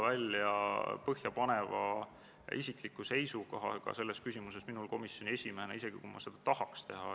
Sellel istungil kiitis riigikaitsekomisjon konsensuslikult heaks muudatusettepaneku, eelnõu teise lugemise teksti ja seletuskirja.